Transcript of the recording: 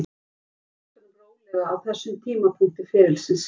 Ég vil taka hlutunum rólega á þessum tímapunkti ferilsins.